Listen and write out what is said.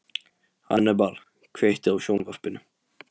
Hannibal, kveiktu á sjónvarpinu.